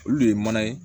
Olu de ye mana ye